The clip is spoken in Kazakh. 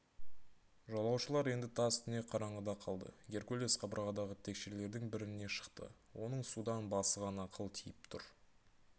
жолаушылар енді тас-түнек қараңғыда қалды геркулес қабырғадағы текшелердің біріне шықты оның судан басы ғана қылтиып тұр